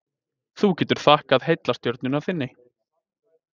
Þú getur þakkað heillastjörnunni þinni.